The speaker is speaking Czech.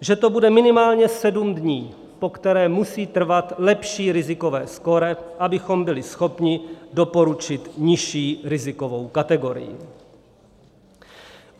že to bude minimálně sedm dní, po které musí trvat lepší rizikové skóre, abychom byli schopni doporučit nižší rizikovou kategorii.